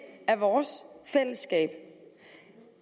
af vores fællesskab